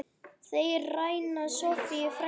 Þeir ræna Soffíu frænku.